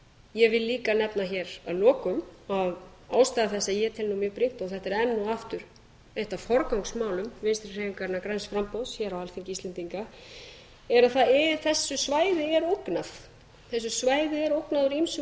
ég vil líka nefna hér að lokum að ástæða þess að ég tel nú mjög brýnt og þetta er enn og aftur eitt af forgangsmálum vinstri hreyfingarinnar græns framboðs hér á alþingi íslendinga er að þessu svæði er ógnað úr ýmsum